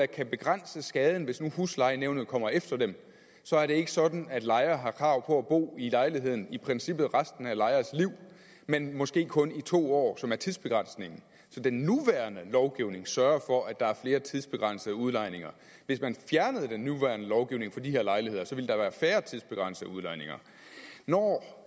kan begrænse skaden hvis nu huslejenævnet kommer efter dem så er det ikke sådan at lejer har krav på at bo i lejligheden i princippet resten af lejers liv men måske kun i to år som er tidsbegrænsningen så den nuværende lovgivning sørger for at der er flere tidsbegrænsede udlejninger hvis man fjernede den nuværende lovgivning på de her lejligheder ville der være færre tidsbegrænsede udlejninger når